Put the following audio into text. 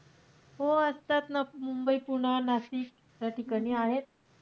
हो असतात ना मुंबई, पुणं, नाशिक अशा ठिकाणी आहेत.